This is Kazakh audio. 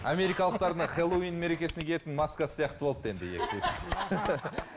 америкалықтар мына хэллоуин мерекесіне киетін маскасы сияқты болыпты енді